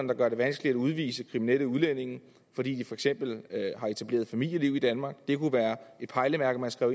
der gør det vanskeligt at udvise kriminelle udlændinge fordi de for eksempel har etableret familieliv i danmark det kunne være et pejlemærke man skrev